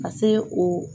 Ka se o